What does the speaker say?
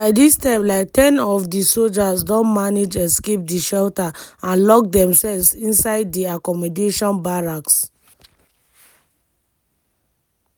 by dis time like ten of di sojas don manage escape di shelter and lock demselves inside di accommodation barracks.